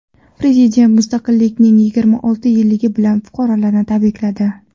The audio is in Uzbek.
Prezident mustaqillikning yigirma olti yilligi bilan fuqarolarni tabrikladi .